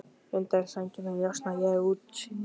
Undan sænginni njósna ég um útsýnið.